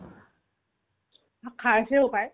অ, খাইছে হ'ব পাই